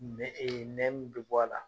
Nɛ Nɛ min bɔ a la